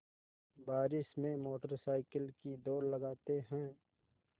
बारिश में motorcycle की दौड़ लगाते हैं